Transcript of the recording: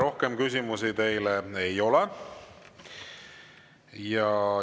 Rohkem küsimusi teile ei ole.